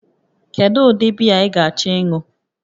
Kedu ụdị biya ị ga-achọ ịṅụ?